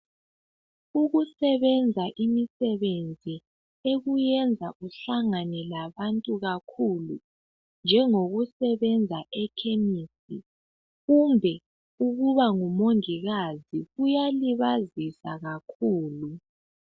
Ukusebenza imisebenzi ekuyenza uhlangane labantu kakhulu njengokusebenza echemis kumbe ukuba ngumongikazi kuyalibazisa kakhulu